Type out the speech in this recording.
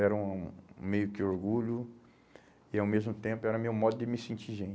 Era um um meio que orgulho e, ao mesmo tempo, era meu modo de me sentir